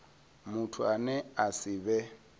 muthu ane a si vhe